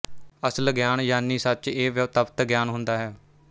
ਅਸਲ ਗਿਆਨ ਯਾਨੀ ਸੱਚ ਇਹ ਵਿਓਤਪਤ ਗਿਆਨ ਹੁੰਦਾ ਹੈ